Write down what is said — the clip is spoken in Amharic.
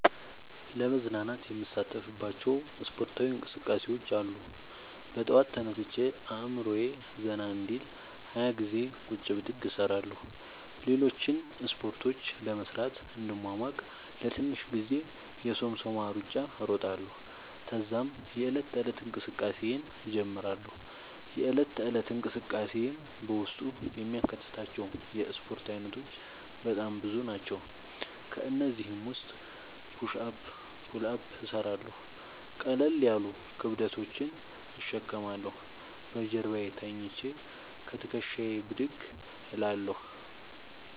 ለመዝናናት የምሣተፍባቸዉ እስፖርታዊ እንቅስቃሤዎች አሉ። በጠዋት ተነስቼ አእምሮየ ዘና እንዲል 20ገዜ ቁጭ ብድግ እሰራለሁ። ሌሎችን እስፖርቶች ለመሥራት እንድሟሟቅ ለትንሽ ጊዜ የሶምሶማ እሩጫ እሮጣለሁ። ተዛም የዕለት ተለት እንቅስቃሴየን እጀምራለሁ። የእለት ተለት እንቅስቃሴየም በውስጡ የሚያካትታቸዉ የእስፖርት አይነቶች በጣም ብዙ ናቸዉ። ከእነዚህም ዉስጥ ፑሽ አፕ ፑል አፕ እሠራለሁ። ቀለል ያሉ ክብደቶችን እሸከማለሁ። በጀርባየ ተኝቸ ከትክሻየ ብድግ እላለሁ።